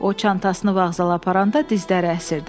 O çantasını vağzala aparanda dizləri əsirdi.